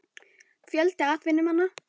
Fjöldi atvinnumanna?